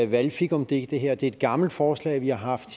valgfikumdik det her det er et gammelt forslag vi har haft